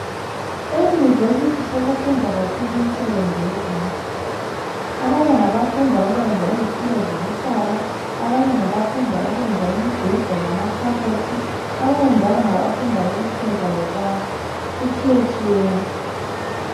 Eyunivesiti sekufundwa kakhulu imsebenzi yezandla, abanye ngabafunda ukwenza izithulo zokuhlala, abanye ngabafunda ukwenza imibheda lamakhabothi, abanye njalo ngabafunda ukupheka lokwakha kutshiye tshiyene.